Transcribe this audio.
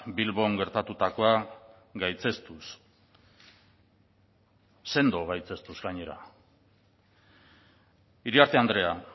bilbon gertatutakoa gaitzestuz sendoz gaitzestuz gainera iriarte andrea